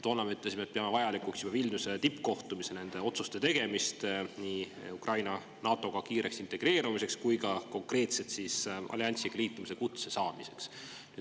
Toona me ütlesime, et peame vajalikuks Vilniuse tippkohtumisel nende otsuste tegemist nii Ukraina NATO-ga kiireks integreerumiseks kui ka konkreetselt alliansiga liitumise kutse saamiseks.